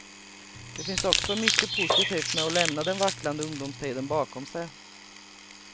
Det finns också mycket positivt med att lämna den vacklande ungdomstiden bakom sig.